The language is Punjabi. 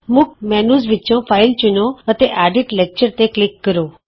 ਮੁੱਖ ਮੈਨਯੂ ਵਿਚੋਂ ਫਾਈਲ ਚੁਣੋ ਅਤੇ ਐਡਿਟ ਲੈਕਚਰ ਤੇ ਕਲਿਕ ਕਰੋ